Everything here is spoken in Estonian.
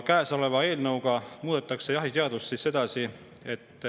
Käesoleva eelnõu kohaselt muudetakse jahiseadust.